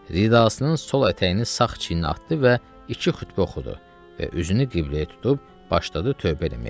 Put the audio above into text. Ridasının sol ətəyini sağ çiyininə atdı və iki xütbə oxudu və üzünü qibləyə tutub başladı tövbə eləməyə.